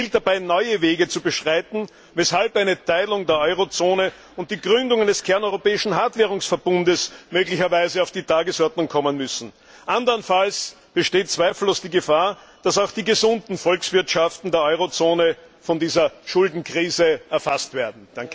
Es gilt dabei neue Wege zu beschreiten, weshalb eine Teilung der Eurozone und die Gründung eines kerneuropäischen Hartwährungsverbundes möglicherweise auf die Tagesordnung kommen müssen. Anderenfalls besteht zweifellos die Gefahr, dass auch die gesunden Volkswirtschaften des Euroraums von dieser Schuldenkrise erfasst werden.